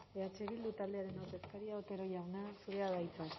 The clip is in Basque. eh bildu taldearen ordezkaria otero jauna zurea da hitza